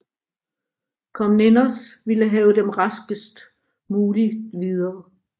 Komnenos ville have dem raskest muligt videre